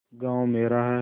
गॉँव मेरा है